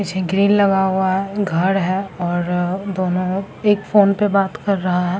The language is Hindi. ग्रील लगा हुआ है घर है और दोनों एक फोन पे बात कर रहा है।